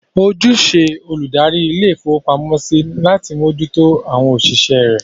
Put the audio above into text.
Ojúṣe olùdarí ilé-ìfowópamọ́sí ni láti mójú tó àwọn òṣìṣẹ́ rẹ̀.